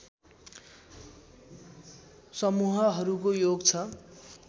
समूहहरूको योग छ